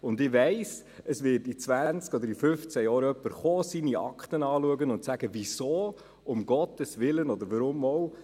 Und ich weiss, es wird in 20 oder in 15 Jahren jemand seine Akte anschauen kommen und sagen: «Wieso um Gottes Willen oder warum auch?